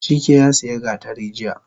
Chike yasiya gatari jiya